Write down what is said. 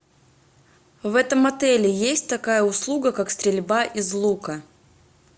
в этом отеле есть такая услуга как стрельба из лука